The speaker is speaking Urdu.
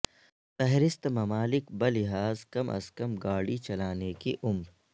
فہرست ممالک بلحاظ کم از کم گاڑی چلانے کی عمر